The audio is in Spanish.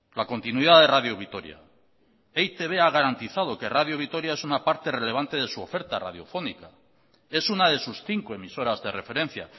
la continuidad de radio vitoria e i te be ha garantizado que radio vitoria es una parte relevante de su oferta radiofónica es una de sus cinco emisoras de referencia